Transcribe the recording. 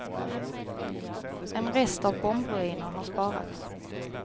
En rest av bombruiner har sparats.